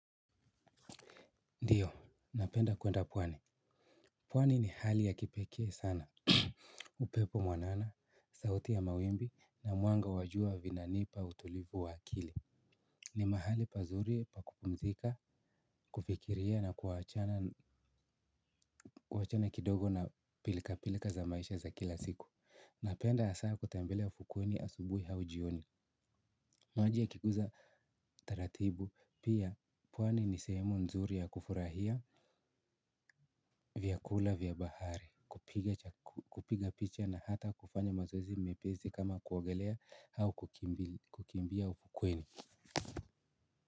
Ndio, napenda kuenda pwani pwani ni hali ya kipekee sana. Upepo mwanana, sauti ya mawimbi na mwanga wa jua vinanipa utulivu wa akili. Ni mahali pazuri pa kupumzika, kufikiria na kuachana kidogo na pilka pilka za kila siku napenda hasa kutembelea fukweni asubuhi au jioni. Maji yakiguza taratibu pia pwani ni sehemu nzuri ya kufurahia vyakula vya bahari. Kupiga picha na hata kufanya mazoezi mepesi kama kuogelea au kukimbia ufukweni.